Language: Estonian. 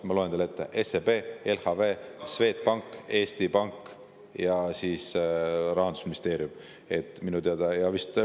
Ma loen teile ette: SEB, LHV, Swedbank ja Eesti Pank ning ka Rahandusministeerium, minu teada.